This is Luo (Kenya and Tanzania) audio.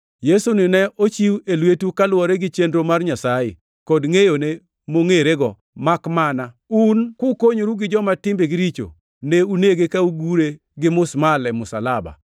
Yesuni ne ochiw e lwetu kaluwore gi chenro mar Nyasaye kod ngʼeyone mongirore, makmana un kukonyoru gi joma timbegi richo, ne unege ka ugure gi musmal e msalaba.